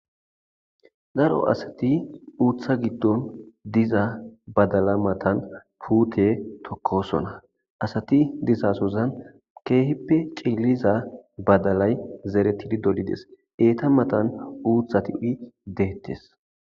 daro asati uththa giddon diza badala matan puute tokkosona asati dizasozan keehippe cilliza badalay zeretidi dolides eeta matan uuthati deettes